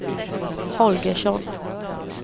Holgersson